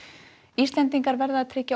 Íslendingar verða að tryggja